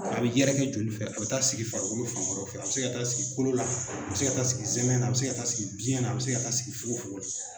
A bɛ yɛrɛkɛ joli fɛ a bɛ taa sigi farikolo fan wɛrɛ fɛ a bɛ se ka taa sigi kolo la a bɛ se ka taa sigi zɛmɛ na a bɛ se ka taa sigi biyɛn na a bɛ se ka taa sigi fogo fogo la.